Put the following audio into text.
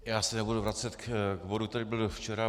Já se nebudu vracet k bodu, který byl včera.